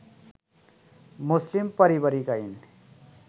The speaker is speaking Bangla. মুসলিম পারিবারিক আইন